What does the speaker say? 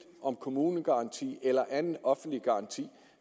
om kommunegaranti eller anden offentlig garanti